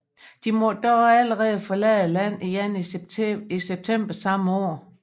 De måtte dog allerede forlade landet igen i september samme år